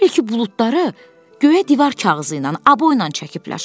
Elə bil ki, buludları göyə divar kağızı ilə, aboyla çəkiblər.